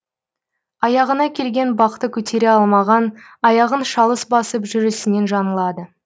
аяғына келген бақты көтере алмаған аяғын шалыс басып жүрісінен жаңылады